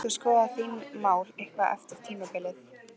Munt þú skoða þín mál eitthvað eftir tímabilið?